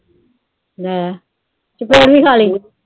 ਲੈ, ਚਪੇੜ ਵੀ ਖਾ ਲਈ।